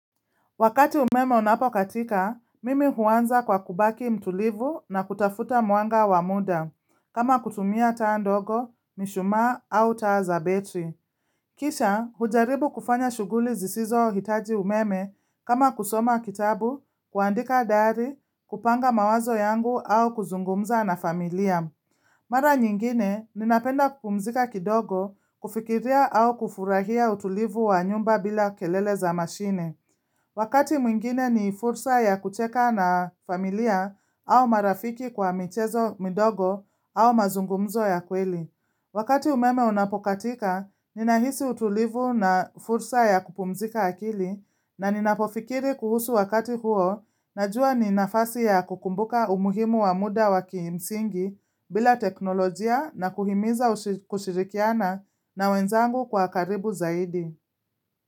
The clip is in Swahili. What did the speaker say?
Wakati umeme unapokatika, mimi huanza kwa kubaki mtulivu na kutafuta mwanga wa muda, kama kutumia taa ndogo, mishumaa au taa za betri. Kisha, hujaribu kufanya shughuli zisizo hitaji umeme kama kusoma kitabu, kuandika dari, kupanga mawazo yangu au kuzungumza na familia. Mara nyingine, ninapenda kupumzika kidogo, kufikiria au kufurahia utulivu wa nyumba bila kelele za mashine. Wakati mwingine ni fursa ya kucheka na familia au marafiki kwa michezo midogo au mazungumzo ya kweli. Wakati umeme unapokatika, ninahisi utulivu na fursa ya kupumzika akili na ninapofikiri kuhusu wakati huo na jua ni nafasi ya kukumbuka umuhimu wa muda waki msingi bila teknolojia na kuhimiza kushirikiana na wenzangu kwa karibu zaidi.